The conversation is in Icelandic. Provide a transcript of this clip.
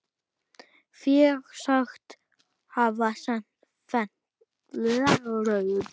Fé sagt hafa fennt.